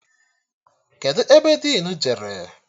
Kedụ ebe dinu jere?